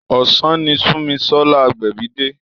Ọ̀sán ni Sunmisola Agbebi dé.